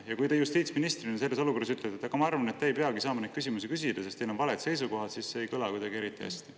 Ja kui te justiitsministrina selles olukorras ütlete, et te arvate, et me ei peagi saama neid küsimusi küsida, sest meil on valed seisukohad, siis see ei kõla kuidagi eriti hästi.